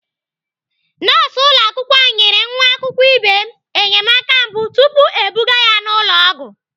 Nọọsụ ụlọakwụkwọ anyị nyere nwa akwụkwọ ibe m enyemaka mbụ tupu ebuga ya ụlọ ọgwụ.